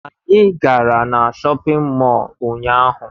Anyị gara na shọpịn mọọ ụnyaahụ